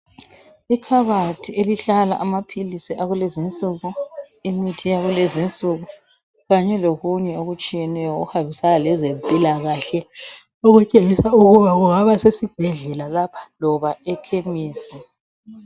Ikhabathi elihlala amaphilisi akulezinsuku, imithi yakulezinsuku kanye lokunye okutshiyeneyo okuhambisana lezempilakahle okutshengisa ukuba kungaba sesibhedlela lapha loba ekhemisi.